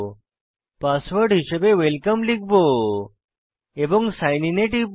password হিসাবে welcome লিখব এবং সাইন আইএন এ টিপব